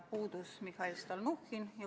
Puudus Mihhail Stalnuhhin.